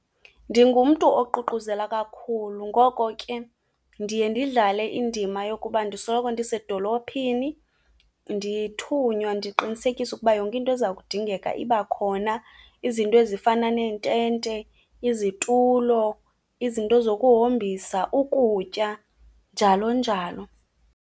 Ndingumntu oququzela kakhulu. Ngoko ke, ndiye ndidlale indima yokuba ndisoloko ndisedolophini, ndithunywa, ndiqinisekisa ukuba yonke into eza kudingeka iba khona. Izinto ezifana neentente, izitulo, izinto zokuhombisa, ukutya, njalo njalo.